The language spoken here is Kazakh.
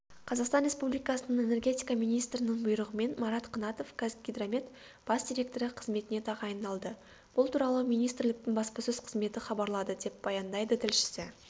қазақстан республикасының энергетика министрінің бұйрығымен марат қынатов қазгидромет бас директоры қызметіне тағайындалды бұл туралы министрліктің баспасөз қызметі хабарлады деп баяндайды тілшісі